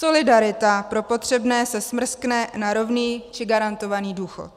Solidarita pro potřebné se smrskne na rovný či garantovaný důchod.